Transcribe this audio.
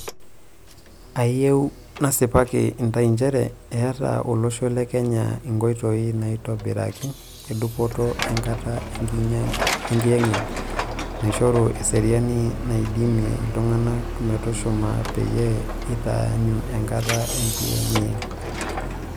Ayieu nasipaki intay njere eeta olosho Le Kenya ingoitoi naiitobiraki e dupoto enkata enkiyengiyeng naishoru eseriani naidimia iltunganak metushuma peyie eitaanyu enkata enkiyengiyeng.